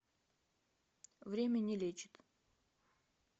время не лечит